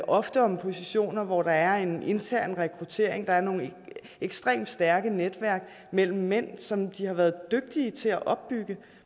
ofte om positioner hvor der er en intern rekruttering der er nogle ekstremt stærke netværk mellem mænd som de har været dygtige til at opbygge